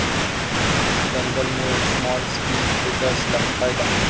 दंगल'मुळे small screen थिएटर्सला फायदा